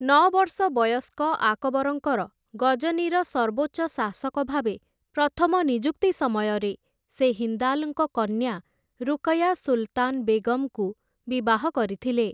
ନଅ ବର୍ଷ ବୟସ୍କ ଆକବରଙ୍କର, ଗଜନୀର ସର୍ବୋଚ୍ଚ ଶାସକ ଭାବେ ପ୍ରଥମ ନିଯୁକ୍ତି ସମୟରେ, ସେ ହିନ୍ଦାଲ୍‌ଙ୍କ କନ୍ୟା, ରୁକୟା ସୁଲ୍‌ତାନ୍‌ ବେଗମ୍‌ଙ୍କୁ ବିବାହ କରିଥିଲେ ।